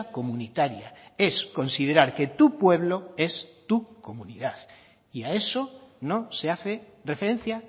comunitaria es considerar que tu pueblo es tu comunidad y a eso no se hace referencia